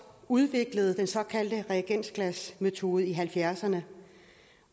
udviklede den såkaldte reagensglasmetode i nitten halvfjerdserne